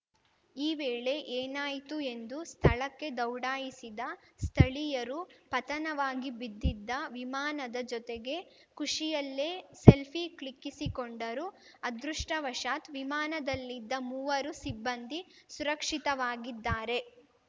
ಈ ವೇಳೆ ಏನಾಯಿತು ಎಂದು ಸ್ಥಳಕ್ಕೆ ದೌಡಾಯಿಸಿದ ಸ್ಥಳೀಯರು ಪತನವಾಗಿ ಬಿದ್ದಿದ್ದ ವಿಮಾನದ ಜೊತೆಗೆ ಖುಷಿಯಲ್ಲೇ ಸೆಲ್ಫೀ ಕ್ಲಿಕ್ಕಿಸಿಕೊಂಡರು ಅದೃಷ್ಟಾವಶತ್‌ ವಿಮಾನದಲ್ಲಿದ್ದ ಮೂವರು ಸಿಬ್ಬಂದಿ ಸುರಕ್ಷಿತವಾಗಿದ್ದಾರೆ